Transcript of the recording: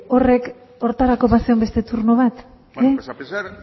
horrek horretarako bazegoen beste turno bat bale bueno pues a pesar